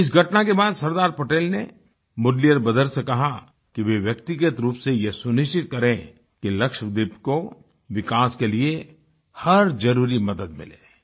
इस घटना के बाद सरदार पटेल ने मुदलियार ब्रदर्स से कहा कि वे व्यक्तिगत रूप से ये सुनिश्चित करें कि लक्षद्वीप को विकास के लिए हर जरुरी मदद मिले